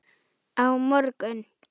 Á morgun?